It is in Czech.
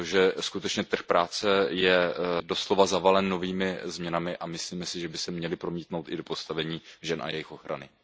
Protože skutečně trh práce je doslova zavalen novými změnami a myslím si, že by se měly promítnout i do postavení žen a jejich ochrany.